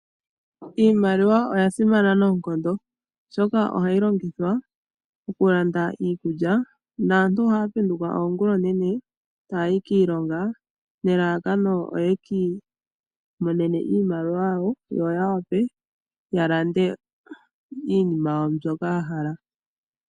Iimaliwa oya simana noonkondo, oshoka ohayi longithwa okulanda iikulya. Naantu ohaya penduka oongula oonene taya yi kiilonga nelalakano oye ki imonene iimaliwa ya wape ya landa iinima yawo mbyoka ya hala.